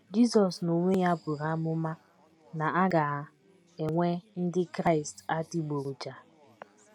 Jizọs n’onwe ya buru amụma na a ga - enwe Ndị Kraịst adịgboroja.